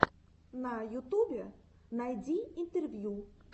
на ютубе найди интервью